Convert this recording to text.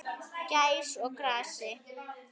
Gæs og gassi.